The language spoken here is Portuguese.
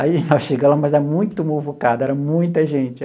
Aí nós chegamos lá, mas era muito muvucado, era muita gente.